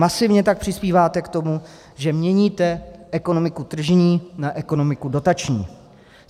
Masivně tak přispíváte k tomu, že měníte ekonomiku tržní na ekonomiku dotační.